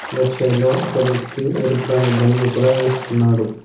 Left side లో ఒక వ్యక్తి ఎరుపు రంగు బనీను కూడా వేసుకున్నాడు.